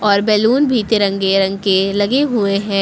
और बलून भी तिरंगे रंग के लगे हुए हैं।